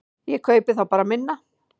Ég kaupi þá bara minna.